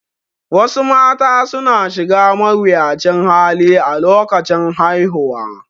Wasu mata suna shiga mawuyacin hali a lokacin haihuwa